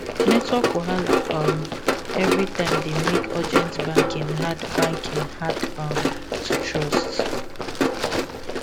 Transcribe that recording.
network wahala um every time dey make urgent banking hard banking hard um to trust